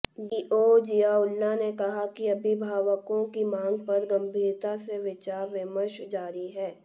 DTO Ziaullah ने कहा कि अभिभावकों की मांग पर गंभीरता से विचार विमर्श जारी है